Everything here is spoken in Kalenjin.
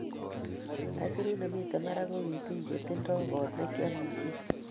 isurut nemiten barak kokitiny che tindo kot nekiamishen.